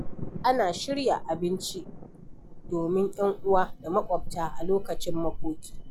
Ana shirya abinci domin ‘yan uwa da maƙwabta a lokacin makoki.